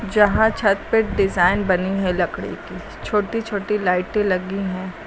जहां छत पे डिजाइन बनी है लकड़ी की। छोटी छोटी लाइटें लगी हैं।